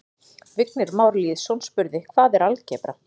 Vignir Már Lýðsson spurði: Hvað er algebra?